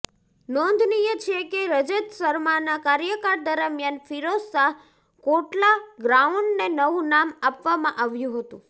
નોંધનીય છે કે રજત શર્માના કાર્યકાળ દરમિયાન ફિરોઝશાહ કોટલા ગ્રાઉન્ડને નવું નામ આપવામાં આવ્યું હતું